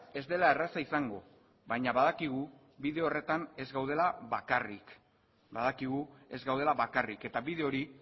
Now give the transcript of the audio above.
ez dela erraza izango baina badakigu bide horretan ez gaudela bakarrik eta bide hori